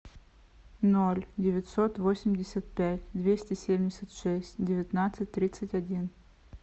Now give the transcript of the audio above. ноль девятьсот восемьдесят пять двести семьдесят шесть девятнадцать тридцать один